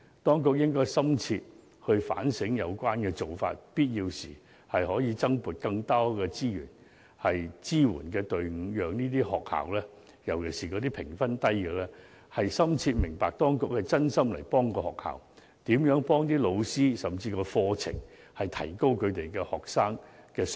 當局應深切反省有關做法，必要時增撥資源和加設支援隊伍，讓各學校，尤其是評分低的學校，深切明白當局是真心幫助學校，幫助老師，甚至改善課程，以提高學生的水平。